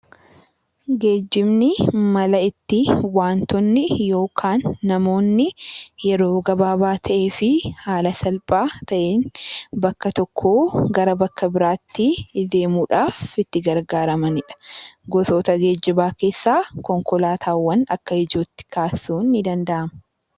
Geejjibni mala ittiin wantoonni yookaan namoonni yeroo gabaabaa ta'ee fi haala salphaa ta'een bakka tokkoo gara bakka biraatti deemuudhaaf itti gargaaramanidha. Gosoota geejjibaa keessaa konkolaataawwan akka ijootti kaasuun ni danda'ama .